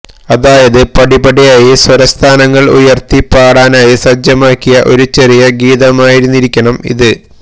അതായത് പടിപടിയായി സ്വരസ്ഥാനങ്ങള് ഉയര്ത്തി പാടാനായി സജ്ജമാക്കിയ ഒരു ചെറിയ ഗീതമായിരുന്നിരിക്കണം ഇത്